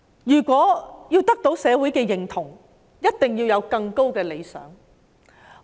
如果要得到社會的認同，一定要有更高的理想。